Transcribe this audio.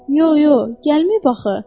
Yox, yox, gəlməyib axı.